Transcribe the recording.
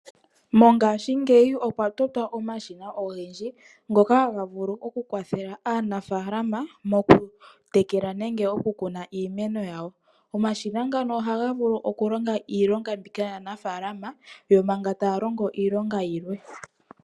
Mongaashingeyi okwa totwa omashina ogendji; ngoka haga vulu oku kwathela aanafaalama moku tekela, nenge oku kuna iimeno yawo. Omashina ngano oha ga vulu oku longa iilonga mbika yaanafaalama, yo manga taa longo iilonga yilwe.